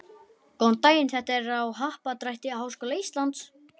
Góðan daginn, þetta er á Happadrætti Háskóla Íslands.